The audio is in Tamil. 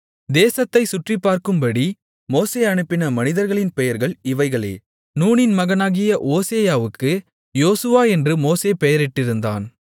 தேசத்தைச் சுற்றிப்பார்க்கும்படி மோசே அனுப்பின மனிதர்களின் பெயர்கள் இவைகளே நூனின் மகனாகிய ஓசேயாவுக்கு யோசுவா என்று மோசே பெயரிட்டிருந்தான்